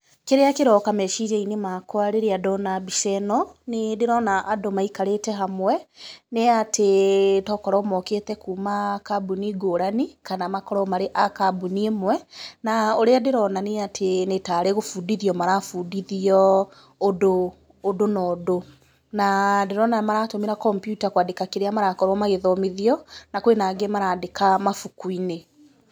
Kĩrĩa kĩroka meciria-inĩ makwa rĩrĩa ndona mbica ĩno, nĩ ndĩrona andũ maikarĩte hamwe nĩ atĩ tokorwo mokĩĩte kuuma kambuni ngũrani kana makorwo marĩ a kambuni ĩmwe, na ũrĩa ndĩrona nĩ atĩ. nĩ tarĩ gũbũndithio marabundithio ũndũ na ũndũ, na ndĩrona maratũmĩra kompiuta kwandĩka kĩrĩa marakorwo magĩthomithio, na kwĩna angĩ maraandĩka mabuku-inĩ.